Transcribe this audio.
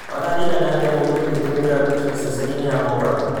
mathaa riĩgana atĩa mũgithi ungĩtumira gũkinya ceceni ya mombatha